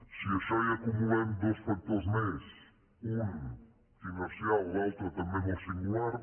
si a això hi acumulem dos factors més un inercial l’altre també molt singular